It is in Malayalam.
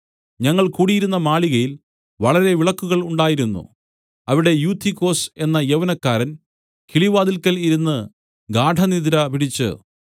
ഞങ്ങൾ കൂടിയിരുന്ന മാളികയിൽ വളരെ വിളക്കുകൾ ഉണ്ടായിരുന്നു അവിടെ യൂത്തിക്കൊസ് എന്ന യൗവനക്കാരൻ കിളിവാതിൽക്കൽ ഇരുന്ന് ഗാഢനിദ്ര പിടിച്ച്